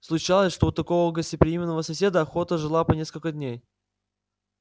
случалось что у такого гостеприимного соседа охота жила по несколько дней